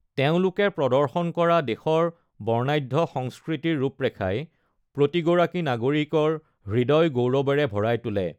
তেওঁলোকে প্ৰদৰ্শন কৰা দেশৰ বৰ্ণাঢ্য সংস্কৃতিৰ ৰূপৰেখাই প্ৰতিগৰাকী নাগৰিকৰ হৃদয় গৌৰৱৰে ভৰাই তোলে।